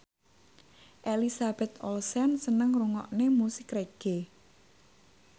Elizabeth Olsen seneng ngrungokne musik reggae